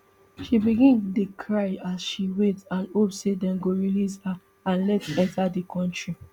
she begin dey cry as she wait and hope say dem go release her and let enta di kontri